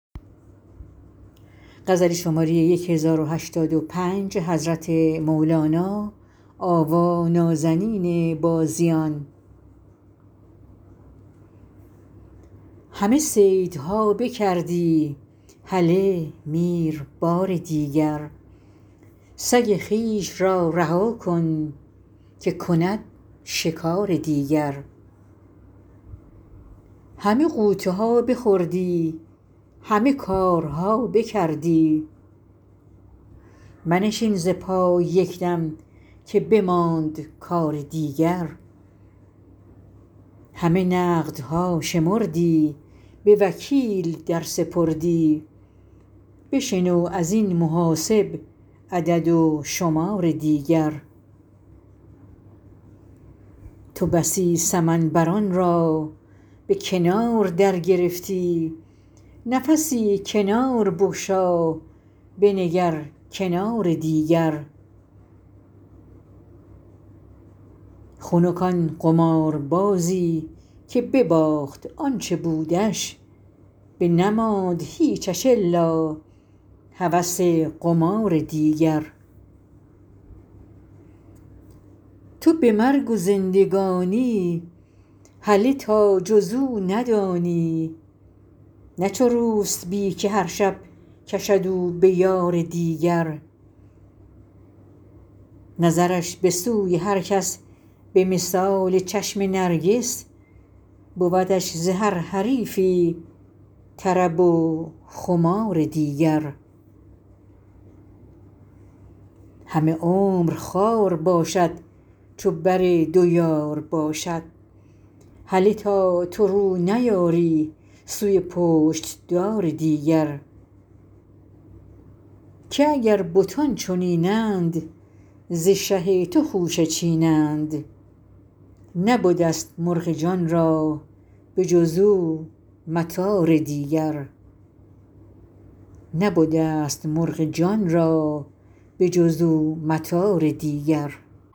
همه صیدها بکردی هله میر بار دیگر سگ خویش را رها کن که کند شکار دیگر همه غوطه ها بخوردی همه کارها بکردی منشین ز پای یک دم که بماند کار دیگر همه نقدها شمردی به وکیل در سپردی بشنو از این محاسب عدد و شمار دیگر تو بسی سمن بران را به کنار درگرفتی نفسی کنار بگشا بنگر کنار دیگر خنک آن قماربازی که بباخت آ ن چه بودش بنماند هیچش الا هوس قمار دیگر تو به مرگ و زندگانی هله تا جز او ندانی نه چو روسپی که هر شب کشد او به یار دیگر نظرش به سوی هر کس به مثال چشم نرگس بودش ز هر حریفی طرب و خمار دیگر همه عمر خوار باشد چو بر دو یار باشد هله تا تو رو نیاری سوی پشت دار دیگر که اگر بتان چنین اند ز شه تو خوشه چینند نبده ست مرغ جان را به جز او مطار دیگر